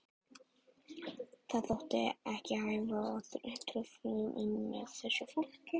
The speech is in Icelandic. Það þótti ekki hæfa að trufla umhverfið með þessu fólki.